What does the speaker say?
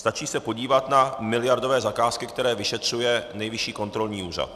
Stačí se podívat na miliardové zakázky, které vyšetřuje Nejvyšší kontrolní úřad.